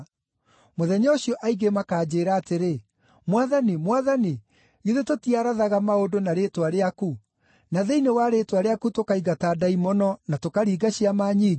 Mũthenya ũcio aingĩ makanjĩĩra atĩrĩ, ‘Mwathani, Mwathani, githĩ tũtiarathaga maũndũ na rĩĩtwa rĩaku, na thĩinĩ wa rĩĩtwa rĩaku tũkaingata ndaimono na tũkaringa ciama nyingĩ?’